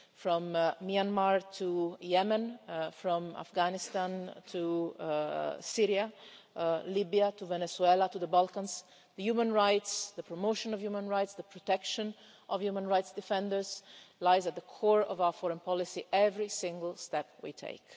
From Myanmar to Yemen, from Afghanistan to Syria, Libya to Venezuela, to the Balkans, the human rights, the promotion of human rights, the protection of human rights defenders lies at the core of our foreign policy in every single step we take.